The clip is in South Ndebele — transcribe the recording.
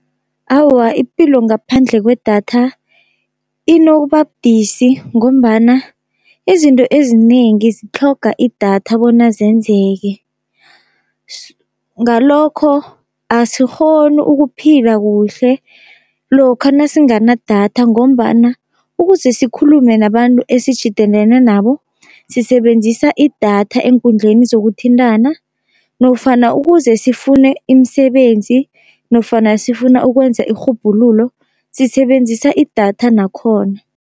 Awa ipilo ngaphandle kwedatha inokuba budisi, ngombana izinto ezinengi zitlhoga idatha bona zenzeke. Ngalokho asikghoni ukuphila kuhle lokha nasinganadatha, ngombana ukuze sikhulume nabantu esitjhidenene nabo sisebenzisa idatha eenkundleni zokuthintana, nofana ukuze sifune imisebenzi nofana sifuna ukwenza irhubhululo, sisebenzisa idatha nakhona.